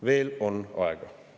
Veel on aega.